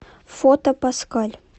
фото паскаль